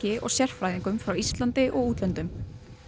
og sérfræðingum frá Íslandi og útlöndum